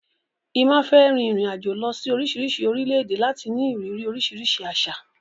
Emma fẹ́ rin ìrìn-àjò lọ sí oríṣiríṣi orílẹ̀-èdè láti ní ìrírí oríṣiríṣi àṣà.